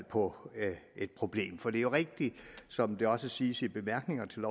på et problem for det er jo rigtigt som det også siges i bemærkningerne til